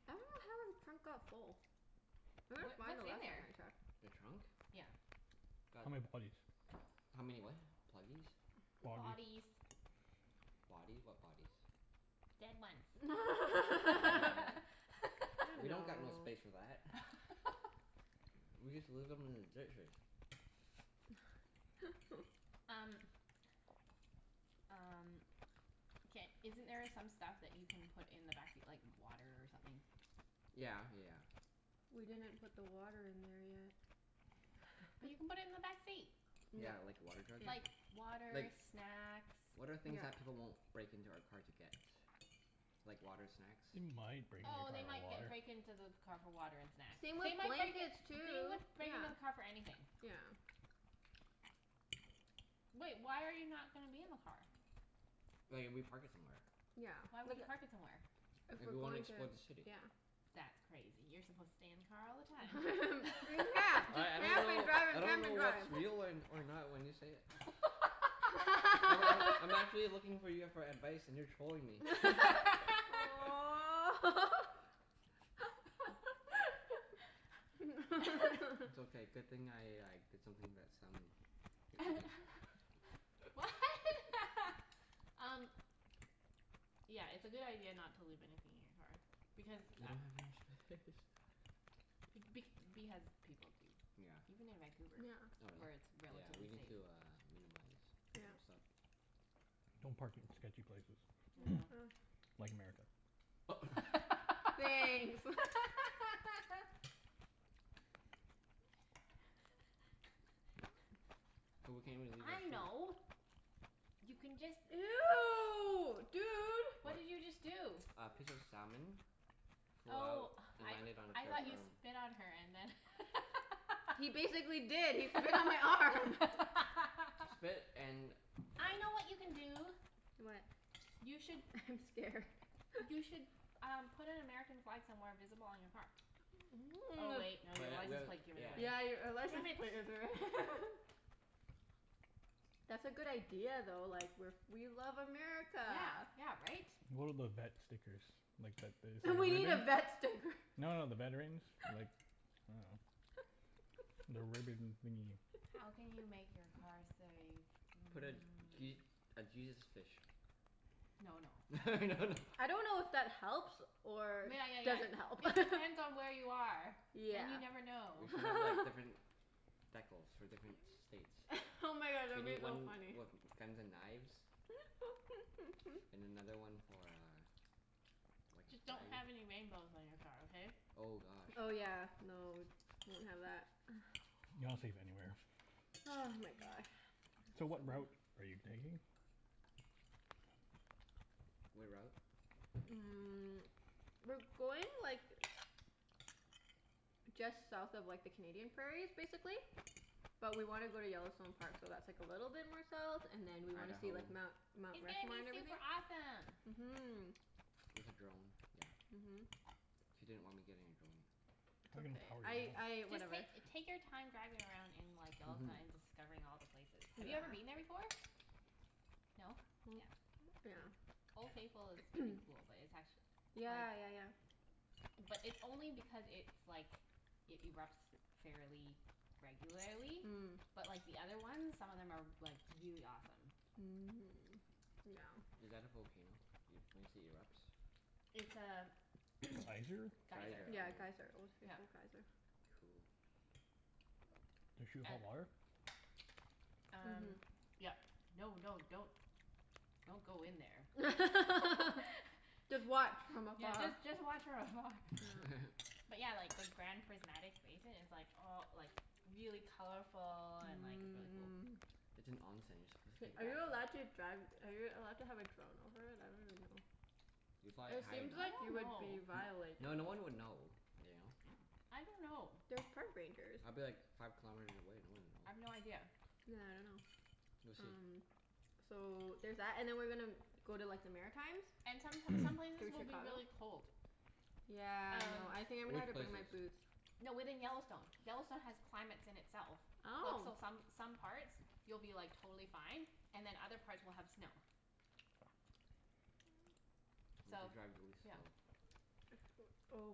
I dunno how our trunk got full. It looked Wha- fine the what's in last time there? I checked. The trunk? Yeah. Got How many bodies? How many what? Pluggies? Body Bodies. Bodies? What bodies? Dead ones. You Oh. We know. don't got no space for that. We just leave them in the ditches. Um Um, ca- isn't there some stuff that you can put in the backseat, like water or something? Yeah yeah yeah. We didn't put the water in there yet. But you can put it in the backseat. Yeah. Yeah, like a water jug? Yeah. Like water, Like, snacks. what are things They Yeah. that people won't might break into our car to break get? into Like your water, snacks? car Oh for they might ge- break water. into the car for water and snacks. Same with They might break, blankets, they would too. break Yeah. into the car for anything. Yeah. Wait, why are you not gonna be in the car? Like if we park it somewhere. Yeah, Why would like you park it somewhere? If If we're we wanna going to, explore the city. yeah. That's crazy. You're supposed to stay in the car all the time. Yeah. Just I I don't camp and know drive I and don't camp know and drive. what's real or or not when you say it. Oh I I'm actually looking for you for advice and you're trolling me. Aw. It's okay. Good thing I like did something to that salmon you're eating. What? Um Yeah, it's a good idea not to leave anything in your car. Because We a- don't have enough space. Be- because people do, Yeah. even in Vancouver, Yeah. Oh where really? it's Yeah, we relatively need safe. to uh minimize some Yeah. stuff. Don't park in sketchy places Yeah. like America. Thanks. So we can't even leave our I food. know You can just Ew, dude. What? What did you just do? A piece of salmon flew out Oh, and I landed on I Claire's thought you arm. spit on her and then He basically did. He spit on my arm. Spit and I know what you can do. What? You should I'm scared. You should um put an American flag somewhere visible on your car. Oh wait, no. Your But th- license we plate give it Yeah. away. Yeah, you're ri- a Damn license it. plate is re- That's a good idea though. Like we're f- we love America. Yeah, yeah right? One of those vet stickers. Like that We need a vet sticker. No, no, the veterans. Like, I dunno. The ribbon thingie. How can you make your car say Put a mm Je- a Jesus fish. No no. No no. I don't know if that helps or Yeah, yeah, doesn't help. yeah. It depends on where you are. And you Yeah. never We know. should have like different decals for different states. Oh my god, that We would be need though one funny. with guns and knives. And another one for uh like a Just don't flag. have any rainbows on your car, okay? Oh gosh. Oh yeah, no, won't have that. You're not safe anywhere. Ah, my god. So what route are you taking? What route? Mm, we're going like just south of like the Canadian prairies, basically. But we want to go to Yellowstone Park, so that's like a little bit more south, and then we want to see Idaho. like Mount Mount It's gonna Rushmore be and everything. super awesome. Mhm. With a drone? Yeah. Mhm. She didn't want me getting a drone. It's okay. I I, Just whatever. take take your time driving around in like Yellowstone Mhm. and discovering all the places. Have you ever been Yeah. there before? Yeah. No? Yeah. Yeah. Mm. Old Faithful is pretty cool, but it's actu- like Yeah, yeah, yeah. But it's only because it's like, it erupts fairly regularly. Mm. But like the other ones, some of them are like really awesome. Is that a volcano? Y- when you say erupts? It's a Geyser? geyser. Geyser. Oh. Yeah, geyser. Old Yeah. Faithful geyser. Cool. Does shoot hot And water? Um Mhm. yep. No, no, don't don't go in there. Just watch from Yeah, afar. just just watch from afar. Yeah. But yeah, like the Grand Prismatic Basin is like all like really colorful and like really cool. Mmm. It's an. You're supposed to Hey, take are you a allowed bath in it. to drive, are you allowed to have a drone over it? I don't even know. If you fly it It high seems enough. I like don't you N- would know. be violating. no, no one would know, you know? I don't know. There's park rangers. I'd be like five kilometers away. No one I've no would know. idea. Yeah, I dunno. We'll see. Um so there's that. And then we're gonna go to like the Maritimes. And some some places Through will be Chicago. really cold. Yeah, I Um know. I think I'm gonna Which have to bring my places? boots. No, within Yellowstone. Yellowstone has climates in itself. Like Oh. so some some parts you'll be like totally fine and then other parts will have snow. We'll have So, to drive really yeah. slow. Oh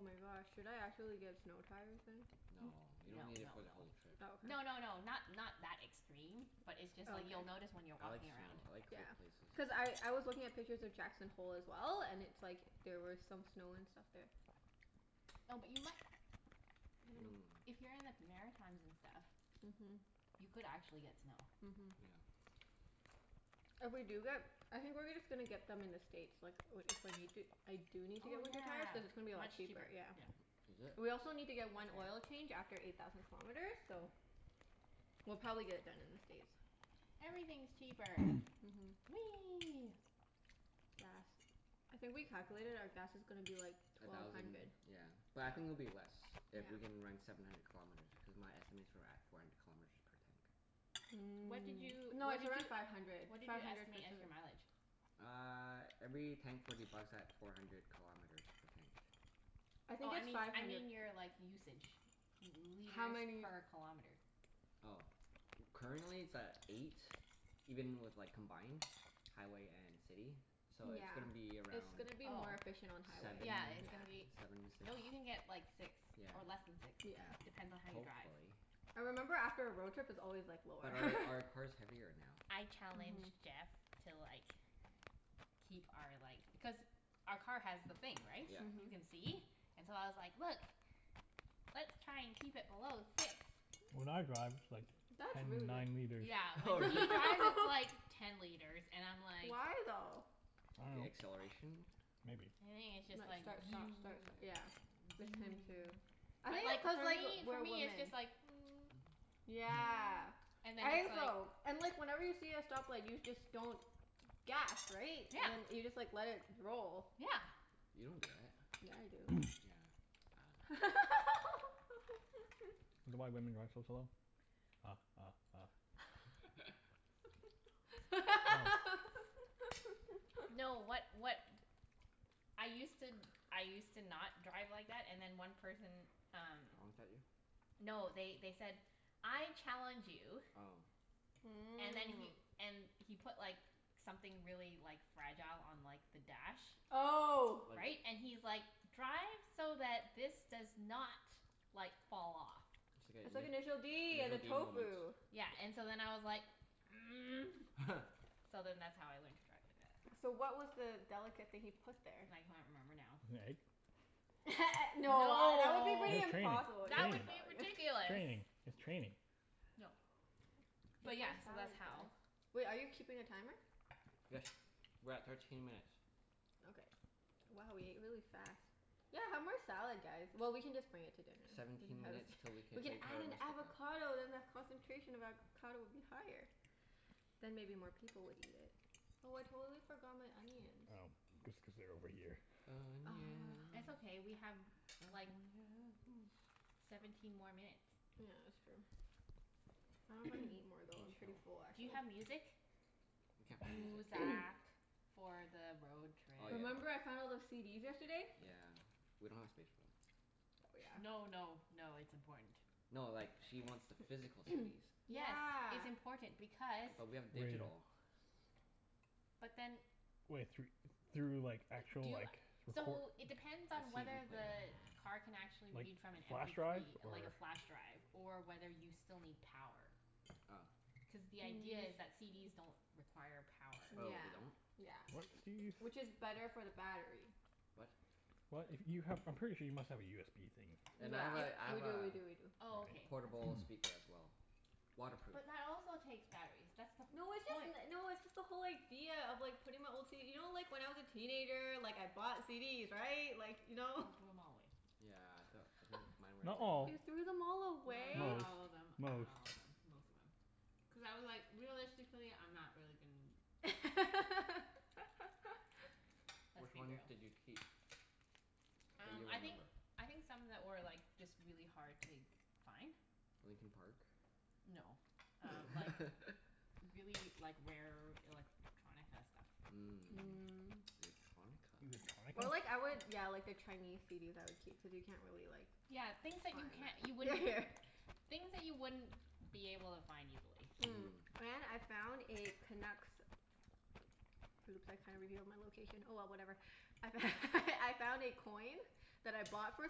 my gosh, should I actually get snow tires then? N- No. You don't no need it no for the no. whole trip. Oh, No, okay. no, no, not not that extreme. But it's just Oh, like okay. you'll notice when you're I like walking snow. around. I like Yeah. cold places. Cuz I I was looking at pictures of Jackson Hole as well, and it's like there were some snow and stuff there. No, but you mi- Mmm. if you're in the Maritimes and stuff Mhm. You could actually get snow. Mhm. Yeah. If we do get, I think we're gonna just gonna get them in the States like i- if we need to, I do need to Oh get winter tires. Cuz it's gonna be a yeah, lot much cheaper. cheaper. Yeah. Yep. Is it? We also need to That's get one oil fair. change after eight thousand kilometers, so We'll probably get it done in the States. Everything's cheaper. Mhm. Whee! Gas. I think we calculated our gas is gonna be like A twelve thousand, hundred. yeah. But I think it'll be less Yeah. if we can run seven hundred kilometers, because my estimates were at four hundred kilometers per tank. What did Mm. you No, what did it's around you five hundred. what did Five you hundred estimate as your mileage? Uh every tank forty bucks at four hundred kilometers per tank. I Oh think I it's mean five I hundred. mean your like usage. L- How liters many per kilometer. Oh. Currently it's at eight, even with like combined, highway and city. So it's Yeah. gonna be It's around gonna be Oh. more efficient on seven? highway. Yeah, it's Yeah. gonna be, Seven m- six. no, you can get like six, Yeah, or less than six. Yeah. yeah. Depends on how you drive. Hopefully. I remember after a road trip it's always like lower. But our our car's heavier now. I Mhm. challenged Jeff to like keep our like, cuz our car has the thing, right? Yeah. You Mhm. can see. And so I was like, "Look, let's try and keep it below six." When I drive it's like That's really ten good. nine liters. Yeah, Oh, when really? he drives it's like ten liters and I'm like Why, though? The acceleration? I Maybe it's just Like dunno. like. start, stop, start, st- Maybe. yeah. him too. I But think it's like cuz for like, me for we're me it's just women. like Yeah. and then I it's think like so. And like whenever you see a stoplight you just don't gas, right? And then Yeah. you just like let it roll. Yeah. You don't do that. Yeah, I do. Yeah, I dunno. Is that why women drive so slow? Ha ha ha. No, what what I used to, I used to not drive like Oh. that, and then one person um Honked at you? No, they they said "I challenge you" Oh. and then he, Mmm. and he put like something really like fragile on like the dash. Oh. Like Right? And he's like, "Drive so that this does not like fall off." I said initial d and the D moment. tofu. Yeah, and so then I was like So then that's how I learned to drive like that. So what was the delicate thing he put there? I can't remember now. An egg? No, that would be No. pretty It's just impossible. That would training. be Training. ridiculous. Training. It's training. No. But Eat more yeah, so that's salad how guys. Wait, are you keeping a timer? Yes. We're at thirteen minutes. Okay. Wow, we ate really fast. Yeah, have more salad guys. Well, we can just bring it to dinner. We can Seventeen have a s- minutes til we can we can play add Terra an Mystica. avocado then the concentration of avocado would be higher. I Then maybe more people would eat it. Oh, I totally forgot my onions. know. Just cuz they're over here. It's Onions. okay, we have like Onions. seventeen Oh, more yes. minutes. Yeah, that's true. I dunno if I can eat more, We though. can I'm pretty chill. full, Do you actually. have music? We can't play music. Muzak. For the road trip. Oh Remember yeah. I found all those CDs yesterday? Yeah. We don't have space for them. Oh, yeah. No, no, no, it's important. No, like she wants the physical CDs. Yes. Yeah. It's important because But we have digital. But then Wai- thr- through like actual Do you, like recor- so it depends A on CD whether player. the car can actually Like, read from an m flash p drive three, or like a flash drive Or whether you still need power. Oh. Cuz the idea is that CDs don't require power. Oh, Yeah. they don't? Yeah. What CDs? Which is better for the battery. What? What? If you have, I'm pretty sure you must have a USB thing. And Yeah. I have a I We have do, a we do, we do. Oh, All okay. right. portable That's good. speaker as well. Waterproof. But that also takes batteries. That's the No, it's just point. n- no, it's just the whole idea of like putting my old CD, you know like when I was a teenager, like I bought CDs, right? Like, you know? He threw them all away. Yeah d- mine were a Not all. You waste of money. threw them all No, away? not Most. all of them. Not Most. all of them. Most of them. Cuz I was like, realistically I'm not really gon- Let's Which be ones real. did you keep? That you Um I think, remember? I think some that were like just really hard to find. Linkin Park? No, um like really, like rare electronica stuff. Mm Mm. electronica. Electronica? Or like I would yeah, like the Chinese CDs I would keep, cuz you can't really like Yeah, things that find you can't, you them. Yeah, wouldn't yeah. Things that you wouldn't be able to find easily. Mm, Mhm. and I found a Canucks, oops I kinda revealed my location. Oh well, whatever. I f- I found a coin that I bought for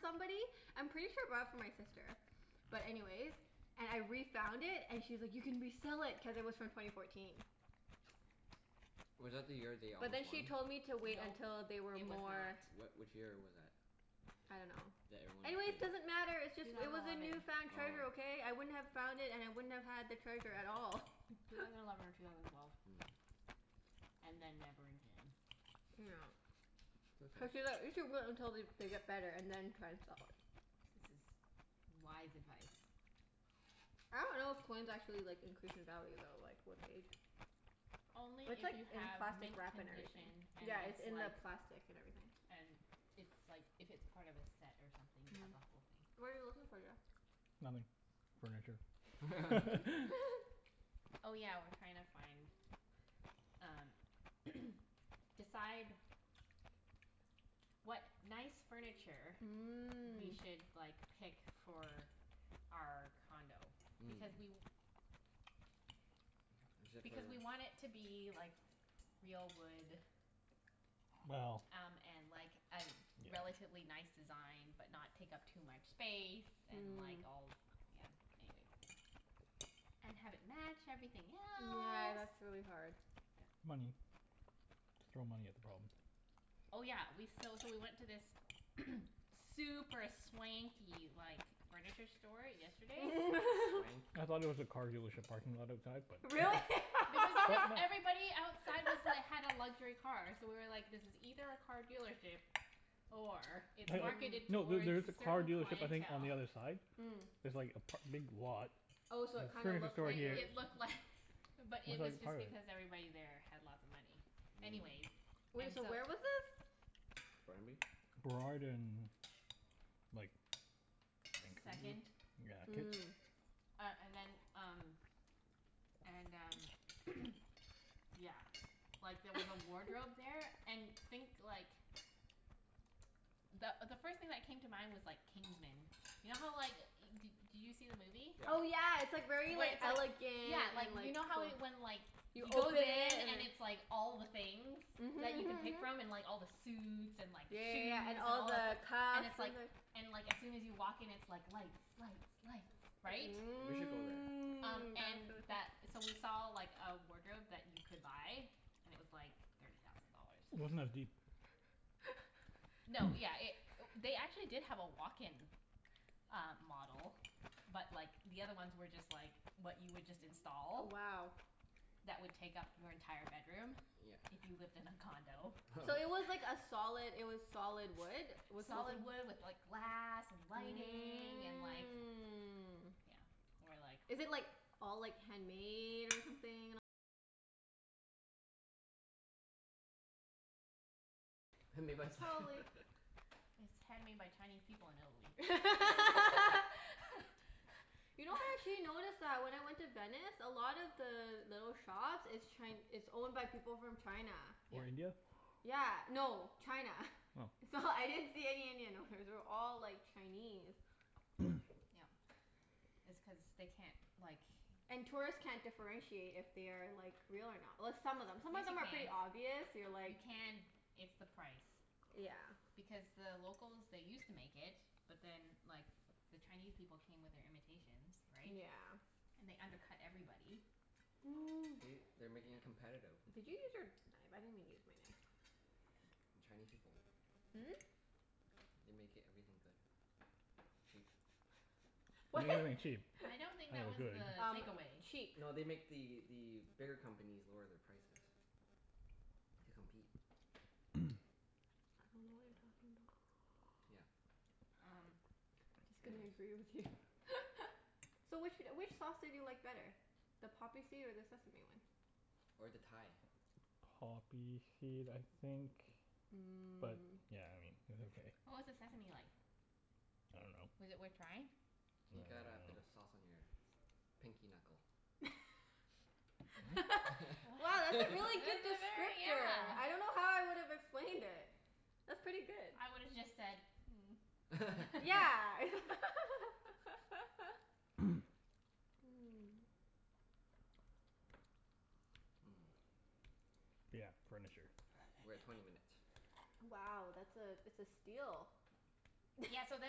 somebody. I'm pretty sure I bought it for my sister. But anyways, and I refound it and she was like, "You can resell it." Cuz it was from twenty fourteen. Was that the year they But almost then she won? told me to wait Nope. until they were It was more not. What, which year was that? I don't know. That everyone is thinking? Anyways, doesn't matter. It's just, Two it thousand was a eleven. newfound treasure, Oh. okay? I wouldn't have found it and I wouldn't have had the treasure at all. Two thousand eleven or two thousand twelve. Mm. And then never again. It's okay. we should wait until they they get better and then try to sell it. This is wise advice. I don't know if coins actually like increase in value though, like with age. Only It's if like you in have plastic mint wrap and everything. condition and Yeah, it's it's in like the plastic and everything. and it's like, if it's part of a set or something, you have the whole thing. What are you looking for, Jeff? Nothing. Furniture. Mhm. Oh yeah, we're trying to find um decide what nice furniture we Mm. should like pick for our condo. Hmm. Because we Is it for because we want it to be like real wood Well. Yeah. um and like a relatively nice design, but not take up too much space. And Mm. like all, yeah. Anyways. And have it match everything Yeah, else. that's really hard. Money. Just throw money at the problem. Oh yeah, we, so so we went to this super swanky like furniture store yesterday. Swanky. I thought it was a car dealership parking lot outside, but no. Really? Because it was, everybody outside was like, had a luxury car, so we were like, this is either a car dealership or it's marketed Mm. No, there towards there is a a car certain dealership, I think, on clientele. the other side. Mm. There's like a p- a big lot. Oh, so it kinda Furniture looked store It like it here. was it looked Looked like, but it was like part just of it. because everybody there had lots of money. Anyways, Mm. Wait, and so so where was this? Burnaby? Burrard and like Vancouver. Second. Yeah, Kits. Mm. Uh and then, um And um yeah, like there was a wardrobe there. And think like the the first thing that came to mind was like Kingsmen. You know how like, d- did you see the movie? Oh Yeah. yeah, it's like very Where like it's like, yeah, elegant like and you like know how when like You he open goes in it and and then it's like all the things that you Mhm can mhm pick mhm. from, and like all the suits and Yeah, like yeah, shoes, yeah. And and all all the the, and cuffs it's and the like and like as soon as you walk in it's like lights, lights, lights, Mm. right? We should go That there. sounds Um and really th- so cool. we saw like a wardrobe that you could buy. And it was like thirty thousand dollars. Wasn't as deep. No, yeah, it, they actually did have a walk-in uh model but like the other ones were just like what you would just Wow. install that would take up your entire bedroom if Yeah. you lived in a condo. So it was like a solid it was solid wood? Was something Solid wood with like glass and lighting and like, you know. Mm. And we're like Made by s- It's handmade by Chinese people in Italy. You know actually I noticed that when I went to Venice, a lot of the little shops, it's Chi- it's owned by people from China. Or Yep. India? Yeah. No. China. Oh. It's all, I didn't see any Indian owners. They were all, like, Chinese. Yep. It's cuz they can't, like And tourists can't differentiate if they are, like, real or not. Well, some of them, some of them are Yes pretty you obvious. can. You're You like can. It's the price. Yeah. Because the locals, they used to make it, but then like the Chinese people came with their imitations, right? Yeah. And they undercut everybody. See? They're making it competitive. Did you use your knife? I didn't even use my knife. Chinese people. Hmm? They make everything good. Cheap. They What? make everything cheap. I I don't dunno think good. that was Um the takeaway. cheap. No, they make the the bigger companies lower their prices. To compete. I dunno what you're talking about. Yeah. Um Just gonna Anyways. agree with you. So which wh- which sauce did you like better? The poppy seed or the sesame one? Or the Thai. Poppy seed, I think. Mm. But yeah, I mean it was okay. What was the sesame like? Was it worth trying? I dunno. I You got a bit of dunno. sauce on your pinky knuckle. Mm? Wow, that's a really That good was a very, descriptor. I yeah don't know how I would've explained it. That's pretty good. I would have just said Yeah. Mmm. Yeah, furniture. We're at twenty minutes. Wow, that's a, it's a steal. Yeah, so